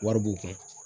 Wari b'u kun